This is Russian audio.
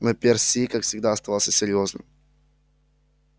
но перси как всегда оставался серьёзным